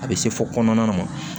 A bɛ se fɔ kɔnɔna ma